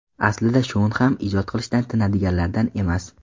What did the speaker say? Aslida Shon ham ijod qilishdan tinadiganlardan emas.